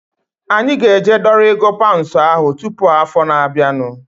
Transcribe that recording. Anyị ga-eje dọrọ ego paunds ahu tụpụ afọ na-abianu